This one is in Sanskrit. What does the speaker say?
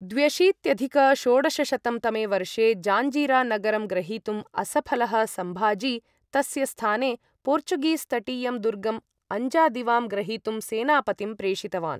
द्व्यशीत्यधिक षोडशशतं तमे वर्षे जाञ्जिरा नगरं ग्रहीतुं असफलः सम्भाजी तस्य स्थाने पोर्चुगीस् तटीयं दुर्गम् अञ्जादिवां ग्रहीतुं सेनापतिं प्रेषितवान्।